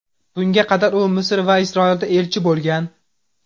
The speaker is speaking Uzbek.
Bunga qadar u Misr va Isroilda elchi bo‘lgan.